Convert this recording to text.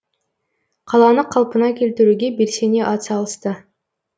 қаланы қалпына келтіруге белсене атсалысты